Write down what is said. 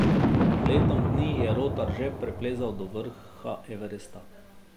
Pred letom dni je Rotar že preplezal do vrha Everesta.